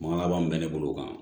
Man laban min bɛ ne bolo o kan